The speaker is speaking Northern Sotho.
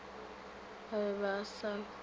ba be ba sa hwele